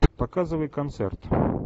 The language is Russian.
показывай концерт